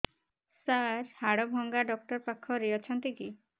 ସାର ହାଡଭଙ୍ଗା ଡକ୍ଟର ପାଖରେ ଅଛନ୍ତି କି